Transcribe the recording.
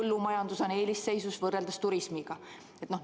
Kas põllumajandus on eelisseisus võrreldes turismiga?